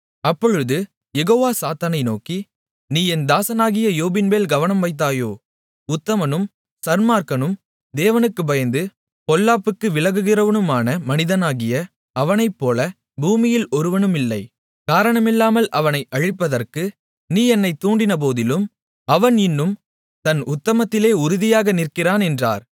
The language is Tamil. அப்பொழுது யெகோவா சாத்தானை நோக்கி நீ என் தாசனாகிய யோபின்மேல் கவனம் வைத்தாயோ உத்தமனும் சன்மார்க்கனும் தேவனுக்குப் பயந்து பொல்லாப்புக்கு விலகுகிறவனுமான மனிதனாகிய அவனைப்போல பூமியில் ஒருவனுமில்லை காரணமில்லாமல் அவனை அழிப்பதற்கு நீ என்னை தூண்டினபோதிலும் அவன் இன்னும் தன் உத்தமத்திலே உறுதியாக நிற்கிறான் என்றார்